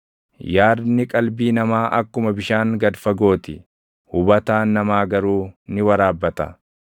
Yaadni qalbii namaa akkuma bishaan gad fagoo ti; hubataan namaa garuu ni waraabbata.